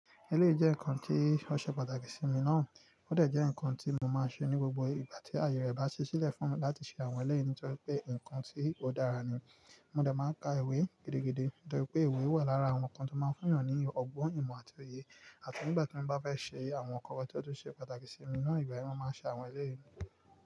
Ẹlẹ́yìí jẹ́ ǹkan tí ó ṣe pàtàkì sí mi ná, ó dà jẹ́ ǹkan tí mo máa ń ṣe ní gbogbo ìgbà tí àyè rẹ bá ṣẹ́ sílẹ̀ fún mi láti ṣe àwọn ẹlẹ́yìí nítorí pé ǹkan tí ó dára ni. Mo de máa n ka ìwé gidi, torí pé ìwé wà lára àwon ǹkan tó máa ń fún'yàn ní ọgbọ́n, ìmọ̀ àti òye. Àti nígbà tí mo bá fẹ́ ṣe àwọn ǹkan tí ó tún ṣe pàtàkì sí mi náà, ìgbà yen mo máa ń ṣe àwọn ẹlẹ́yìí.